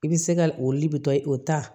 I bɛ se ka o de bɛ taa o ta